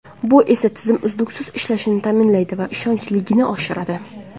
Bu esa tizim uzluksiz ishlashini ta’minlaydi va ishonchliligini oshiradi.